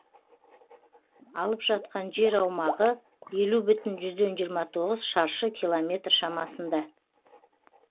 алып жатқан жер аумағы елу бүтін жүзден жиыма тоғыз шаршы километр шамасында